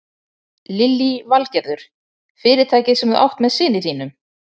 Lillý Valgerður: Fyrirtækið sem þú átt með syni þínum?